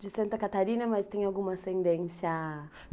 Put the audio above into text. De Santa Catarina, mas tem alguma ascendência?